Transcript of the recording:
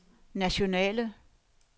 nationale